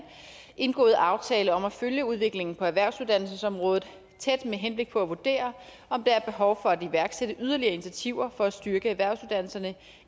indgået aftale om at følge udviklingen på erhvervsuddannelsesområdet tæt med henblik på at vurdere om der er behov for at iværksætte yderligere initiativer for at styrke erhvervsuddannelserne